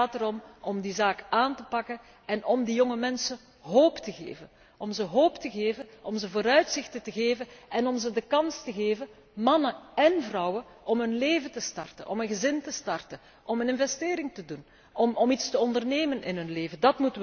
aan denken. Het gaat erom om die zaak aan te pakken en om die jonge mensen hoop te geven, om ze vooruitzichten te geven en om ze de kans te geven, mannen én vrouwen, om een leven te starten, om een gezin te starten, om een investering te doen, om iets te ondernemen in